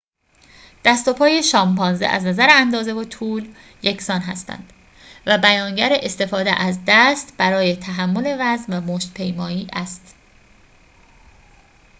دست و پای شامپانزه از نظر اندازه و طول یکسان هستند و بیانگر استفاده از دست برای تحمل وزن و مشت‌پیمایی است